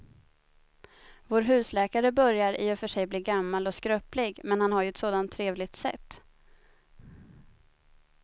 Vår husläkare börjar i och för sig bli gammal och skröplig, men han har ju ett sådant trevligt sätt!